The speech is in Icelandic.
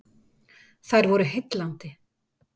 Þær voru heillandi.